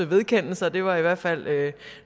vedkende sig det var i hvert fald